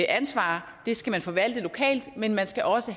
ansvar skal forvaltes lokalt men der skal også